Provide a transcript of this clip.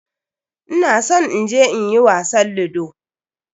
Ina son in je in yi wasan ludo.